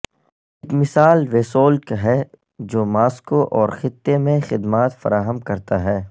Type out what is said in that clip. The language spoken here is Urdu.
ایک مثال ویسولک ہے جو ماسکو اور خطے میں خدمات فراہم کرتا ہے